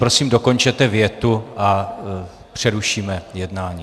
Prosím, dokončete větu a přerušíme jednání.